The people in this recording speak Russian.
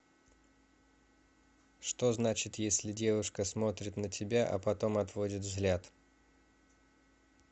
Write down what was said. что значит если девушка смотрит на тебя а потом отводит взгляд